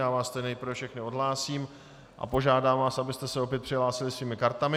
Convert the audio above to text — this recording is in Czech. Já vás tedy nejprve všechny odhlásím a požádám vás, abyste se opět přihlásili svými kartami.